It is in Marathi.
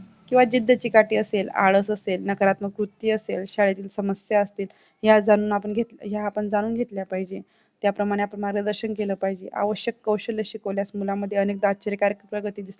किंवा जिद्द चिकाटी असेल आलस असेल नकारात्मक वृत्ती असेल शाळेतील समस्या असतील ह्या आपण जाणून घेतल्या पाहिजे त्याप्रमाणे आपण मार्गदर्शन केलं पाहिजे आवश्यक कौशल्य शिकवल्यास मुलांमध्ये अनेक प्रगती दिसली